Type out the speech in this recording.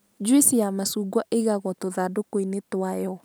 NJuici ya macungwa ĩigagwo tũthandũkũ-inĩ twayo.